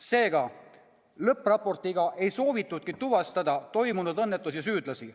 " Seega, lõppraportiga ei soovitudki tuvastada toimunud õnnetuse süüdlasi.